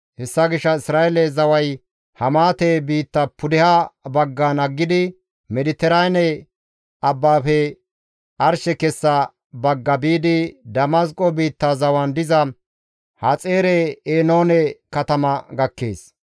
Hessa gishshas Isra7eele zaway Hamaate biitta pudeha baggan aggidi, Mediteraane abbafe arshe kessa baggara biidi, Damasqo biitta zawan diza Haxaare-Enaane katama gakkees.